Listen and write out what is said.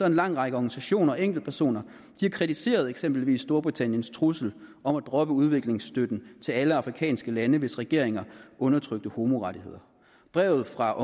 en lang række organisationer og enkeltpersoner kritiseret eksempelvis storbritanniens trusler om at droppe udviklingsstøtten til alle de afrikanske lande hvis regeringer undertrykte homorettigheder brevet fra